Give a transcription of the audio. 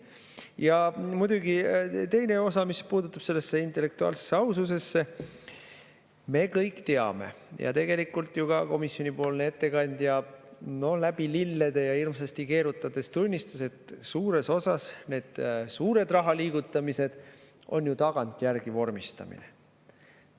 Ja muidugi teine osa, mis puutub sellesse intellektuaalsesse aususesse: me kõik teame ja tegelikult ka komisjonipoolne ettekandja läbi lillede ja hirmsasti keerutades ju tunnistas, et suures osas on need suured rahaliigutamised tagantjärgi vormistamine.